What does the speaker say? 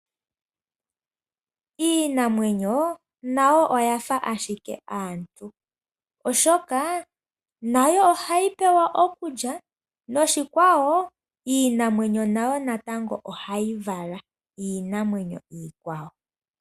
Iinamwenyo nayo oya fa ashike aantu, oshoka nayo ohayi pewa okulya noshikwawo iinamwenyo nayo natango ohayi vala iinamwenyo iikwawo.